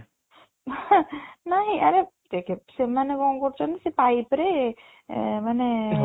ନାଇଁ ଆରେ ଦେଖେ ସେମାନେ କ'ଣ କରୁଛନ୍ତି ସେ pipe ରେ ଏଁ ମାନେ